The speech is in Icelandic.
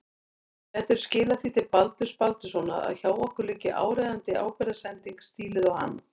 Gætirðu skilað því til Baldurs Baldurssonar að hjá okkur liggi áríðandi ábyrgðarsending stíluð á hann.